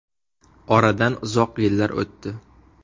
Oradan uzoq yillar o‘tdi.